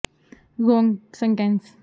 ਇਹ ਉਤੇਜਿਤ ਕਿਸੇ ਵੀ ਹਵਾ ਗਤੀ ਤੇ ਸਟੇਸ਼ਨਰੀ ਰਹਿੰਦੇ ਹਨ